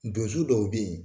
Donso dɔw bɛ yen